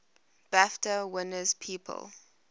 bafta winners people